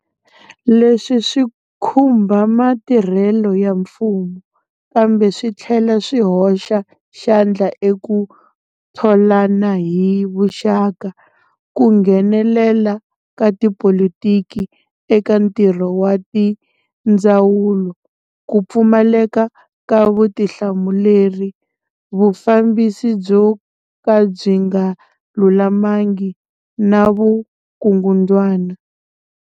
Leswi swi khumba matirhelo ya mfumo, kambe swi tlhela swi hoxa xandla eku tholana hi vuxaka, ku nghenelela ka tipolitiki eka ntirho wa tindzawulo, ku pfumaleka ka vutihlamuleri, vufambisi byo ka byi nga lulamangi na vukungundzwana.